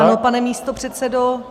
Ano, pane místopředsedo.